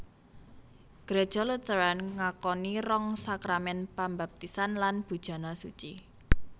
Gréja Lutheran ngakoni rong sakramèn Pambaptisan lan Bujana Suci